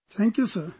Thank you Sir